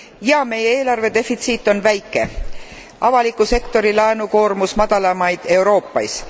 Jah, meie eelarvedefitsiit on väike, avaliku sektori laenukoormus madalamaid Euroopas.